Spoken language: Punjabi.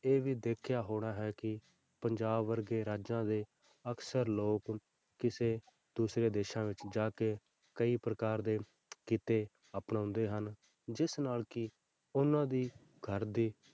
ਇਹ ਵੀ ਦੇਖਿਆ ਹੋਣਾ ਹੈ ਕਿ ਪੰਜਾਬ ਵਰਗੇ ਰਾਜਾਂ ਦੇ ਅਕਸਰ ਲੋਕ ਕਿਸੇ ਦੂਸਰੇ ਦੇਸਾਂ ਵਿੱਚ ਜਾ ਕੇ ਕਈ ਪ੍ਰਕਾਰ ਦੇ ਕਿੱਤੇ ਅਪਣਾਉਂਦੇ ਹਨ, ਜਿਸ ਨਾਲ ਕਿ ਉਹਨਾਂ ਦੀ ਘਰ ਦੀ,